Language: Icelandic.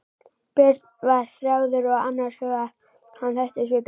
Björn var þjáður og annars hugar, hann þekkti svipinn.